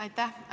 Aitäh!